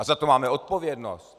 A za to máme odpovědnost.